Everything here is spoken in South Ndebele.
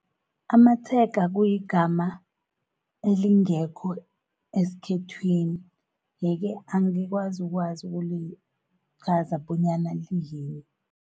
Amatshega kuyigama elingekho eskhethwini, yeke-ke angikwazi ukwazi ukulichaza bonyana liyini.